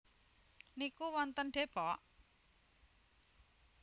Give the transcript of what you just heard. niku wonten Depok?